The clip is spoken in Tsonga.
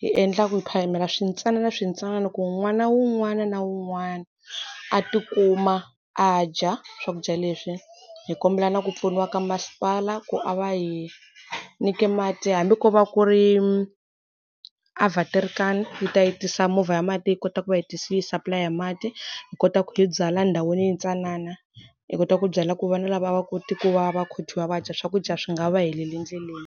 hi endlaka ku hi phamela swintsananaswintsanana ku n'wana wun'wana na wun'wana a ti kuma a dya swakudya leswi. Hi kombela na ku pfuniwa ka masipala ku a va hi nyike mati hambi ko va ku ri awaterkar yi ta yi tisa movha ya mati hi kota ku va yi yi supply-a hi mati. Hi kota ku hi byala ndhawini yintsanana. Hi kota ku byela ku vana lava va kota ku va va va dya swakudya swi nga va heleli ndleleni.